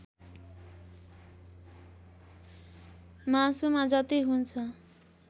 मासुमा जति हुन्छ